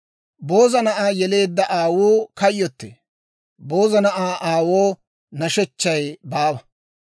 Booza na'aa yeleedda aawuu kayyottee; booza na'aa aawoo nashechchay baawa.